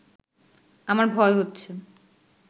আমার ভয় হচ্ছে